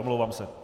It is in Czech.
Omlouvám se.